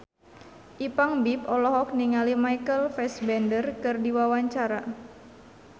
Ipank BIP olohok ningali Michael Fassbender keur diwawancara